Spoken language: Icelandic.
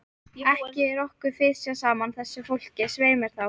Ekki er okkur fisjað saman, þessu fólki, svei mér þá!